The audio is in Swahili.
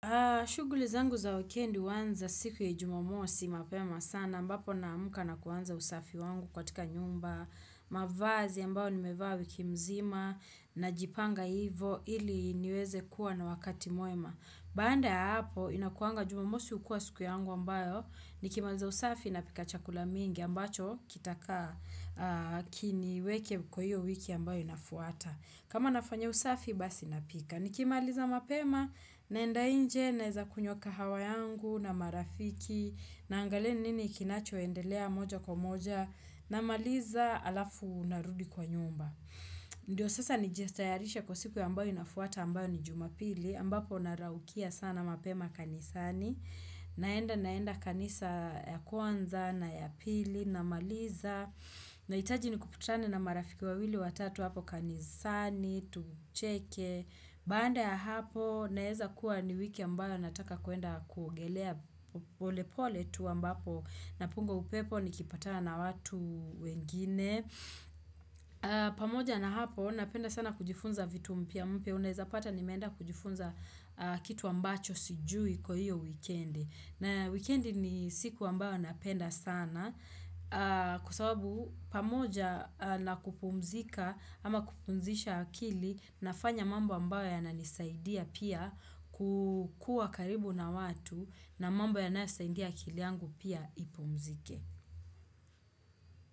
Shuguli zangu za wikendi uanza siku ya jumamosi mapema sana. Ambapo naamka na kuanza usafi wangu katika nyumba, mavazi ambao nimevaa wiki mzima, najipanga ivo ili niweze kuwa na wakati mwema. Baanda ya hapo, inakuanga jumamosi ukua siku yangu ambayo nikimaliza usafi napika chakula mingi ambacho kitakaa kiniweke kwa hiyo wiki ambayo inafuata. Kama nafanya usafi basi napika. Nikimaliza mapema naenda inje naeza kunywa kahawa yangu na marafiki, naangalie ni nini kinachoendelea moja kwa moja, namaliza alafu narudi kwa nyumba. Ndio sasa nijestayarishe kwa siku ambayo inafuata ambayo ni jumapili, ambapo naraukia sana mapema kanisani, naenda naenda kanisa ya kwanza na ya pili namaliza. Nahitaji nikuputane na marafiki wawili watatu hapo kanisani tucheke Baanda ya hapo naeza kuwa ni wiki ambayo nataka kuenda kuogelea pole pole tu ambapo napunga upepo nikipatana na watu wengine pamoja na hapo napenda sana kujifunza vitu mpya mpya unaeza pata nimeenda kujifunza kitu ambacho sijui kwa hiyo wikendi na wikendi ni siku ambayo napenda sana kuwa sababu pamoja na kupumzika ama kupumzisha akili nafanya mamba ambayo yananisaidia pia kukua karibu na watu na mambo yanayosaindia akili yangu pia ipumzike.